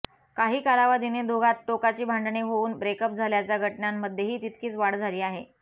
काही कालावधीने दोघांत टोकाची भांडणे होऊन ब्रेकअप झाल्याच्या घटनांमध्येही तितकीच वाढ झाली आहे